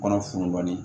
Kɔnɔ fununali